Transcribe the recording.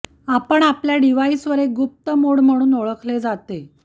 आपण आपल्या डिव्हाइसवर एक गुप्त मोड म्हणून ओळखले जाते